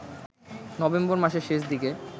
November মাসের শেষ দিকে